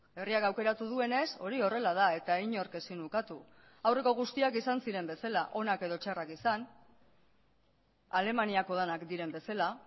herriak aukeratu duenez hori horrela da eta inork ezin ukatu aurreko guztiak izan ziren bezala onak edo txarrak izan alemaniako denak diren bezala